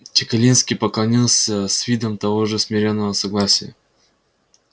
чекалинский поклонился с видом того же смирённого согласия